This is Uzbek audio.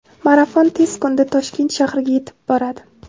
marafon tez kunda Toshkent shahriga yetib boradi.